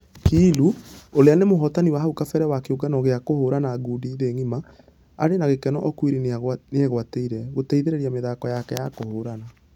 Kiilu ũrĩa nĩ mũhotani wa hau kabere wa kĩũngano gĩa kũhũrana ngundi thĩ ngima na .........arĩ na gĩkeno okwiri nĩegwatĩire ....gũteithereria mĩthako yake ya kũhũrana.